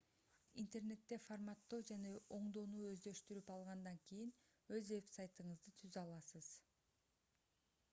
интернетте форматтоо жана оңдоону өздөштүрүп алгандан кийин өз вебсайтыңызды түзө аласыз